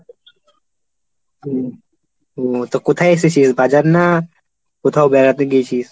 হুম তো কোথায় এসেছিস? বাজার না কোথাও বেড়াতে গেছিস?